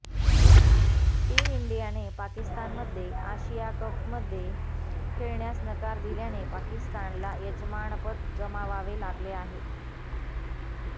team इंडियाने पाकिस्तान मध्ये आशिया कपमध्ये खेळण्यास नकार दिल्याने पाकिस्तानला यजमानपद गमावावे लागले आहे